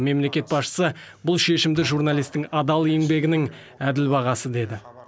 мемлекет басшысы бұл шешімді журналистің адал еңбегінің әділ бағасы деді